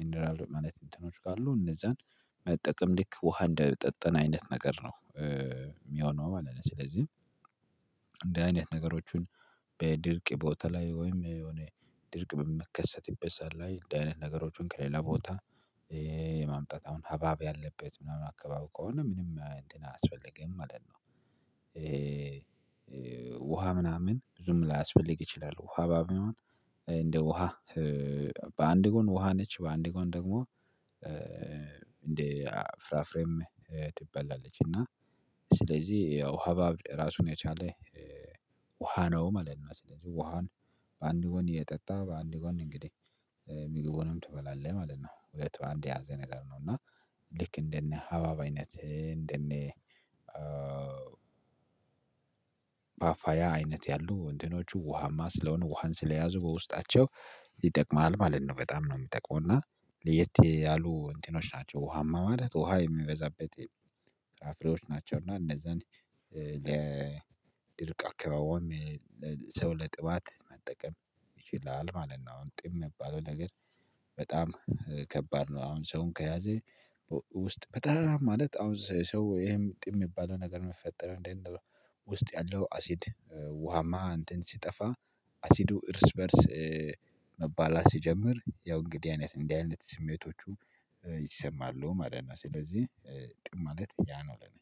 ሚኒራል ማለት ኢንተርኖች ካሉ እነዛን መጠቀም ድክ ውሃ እንደጠጠነ አይነት ነገር ነው የሚሆነው ማለት ነው። ስለዚህ አይነት ነገሮችን በድርቅ ቦታ ላይ ወይም የሆነ ድርቅ በመከሰት ይበዛል። ላይ እንደዚህ አይነት ነገሮችን ከሌላ ቦታ የማምጣት አሁን አባብ ያለበት ምናምን አካባቢ ከሆነ ምንም አያስፈልግም ማለት ነው። ውሃ ምናምን ብዙም ላያስፈልግ ይችላል። ውሃ በአንድ ውሃ በአንድ ጎን ውሃ ነች በአንድ ጎን ደግሞ እንደ ፍራፍሬም ትበላለች እና ስለዚህ ያው ሀባብ ራሱን የቻለ ውሃ ነው ማለት ነው። ስለዚህ ውሃውን በአንድ ጎን እየጠጣ በአንድ ጎን እንግዲህ የሚገቡንም ትበላለህ ማለት ነው። ሁለት በአንዴ ያዘ ነገር ነው። እና ልክ እንደነ አባባይነት እንደነ እንደኔ ባፋያ አይነት ያሉ እንትኖቹ ውሃማ ስለሆነ ውሃን ስለያዙ በውስጣቸው ይጠቅማል ማለት ነው። በጣም ነው የሚጠቅመው እና ለየት ያሉ እንቲኖች ውሃማ ማለት ውሃ የሚበዛበት ፍራፍሬዎች ናቸው። እና እንደዛ እንዴ ለድርቅ አክባውም ሰው ለጥባት መጠቀም ይችላል ማለት ነው። አሁን ጥም የባለው ነገር በጣም ከባድ ነው። አሁን ሰውን ከያዘ ውስጥ በጣም ማለት አሁን ሰው ይሄም ጥም የሚባለው ነገር መፈጠር እንዴት ነው? ውስጥ ያለው አሲድ ውሃማ እንትን ሲጠፋ አሲዱ እርስ በእርስ መባላት ሲጀምር ያው እንግዲህ አይነት እንዲህ አይነት ስሜቶቹ ይሰማሉ ማለት ነው። ስለዚህ ጥማለት ያ ነው። ለኔ